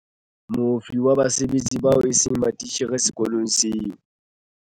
Moifo wa basebetsi bao eseng matitjhere sekolong seo.